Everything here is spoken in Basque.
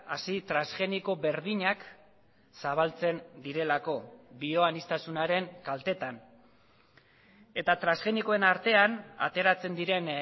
hazi transgeniko berdinak zabaltzen direlako bioanistasunaren kaltetan eta transgenikoen artean ateratzen diren